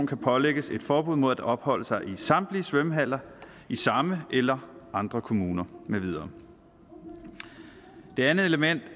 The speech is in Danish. kan pålægges et forbud mod at opholde sig i samtlige svømmehaller i samme eller andre kommuner med videre det andet element